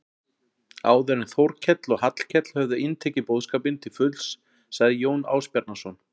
Áður en Þórkell og Hallkell höfðu inntekið boðskapinn til fulls sagði Jón Ásbjarnarson